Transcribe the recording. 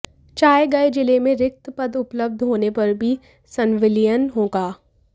चाहे गये जिले में रिक्त पद उपलब्ध होने पर ही संविलियन होगा